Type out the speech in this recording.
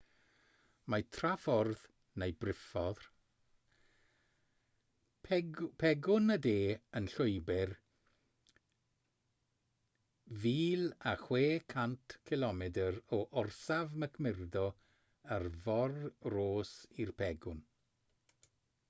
mae traffordd neu briffordd pegwn y de yn llwybr 1600 cilomedr o orsaf mcmurdo ar fôr ross i'r pegwn